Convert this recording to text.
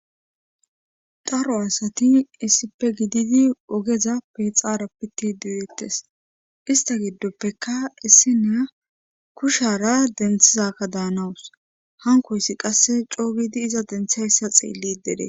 dharo asati issipe gididi ogezap pe xaara pitti duudettes ista giddoppeka issi naa kushara denthizakka daanawus hankoyssi qasse coogidi iza denthayssa xeelli dere